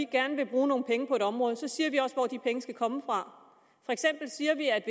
gerne vil bruge nogle penge på et område så siger vi også hvor de penge skal komme fra for eksempel siger vi at